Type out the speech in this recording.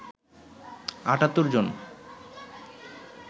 ৭৮ জন